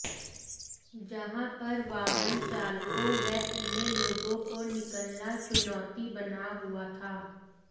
जहां पर वाहन चालकों व अन्य लोगों को निकलना चुनौती बना हुआ था